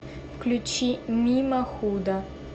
включи мимо худа